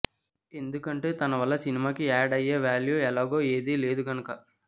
ఎందుకంటే తన వల్ల సినిమాకి యాడ్ అయ్యే వేల్యూ ఎలాగో ఏదీ లేదు కనుక